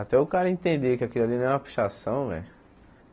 Até o cara entender que aquilo ali não é uma pichação, velho.